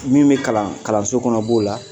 Min bɛ kalan kalanso kɔnɔ b'o la